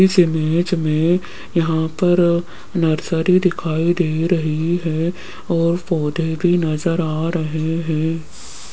इस इमेज में यहां पर नर्सरी दिखाई दे रही है और पौधे भी नजर आ रहे हैं।